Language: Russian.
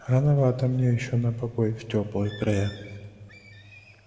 рановато мне ещё на покой в тёплые края